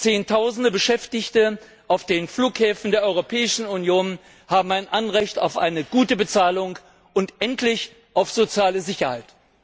Zehntausende Beschäftigte auf den Flughäfen der Europäischen Union haben ein Anrecht auf eine gute Bezahlung und endlich auf soziale Sicherheit.